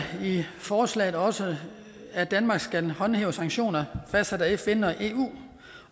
forslaget også at danmark skal håndhæve sanktioner fastsat af fn og eu